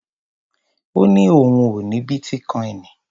Ó ní òun ò ní bítíkoìnì.